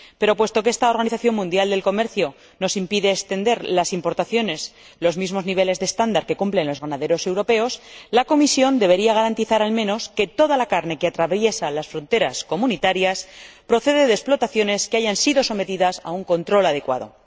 Pero, puesto que esta Organización Mundial del Comercio nos impide extender a las importaciones los mismos niveles de estándar que cumplen los ganaderos europeos, la Comisión debería garantizar, al menos, que toda la carne que atraviesa las fronteras comunitarias procede de explotaciones que hayan sido sometidas a un control adecuado.